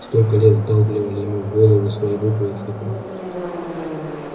столько лет вдалбливали ему в голову свои буквы и цифры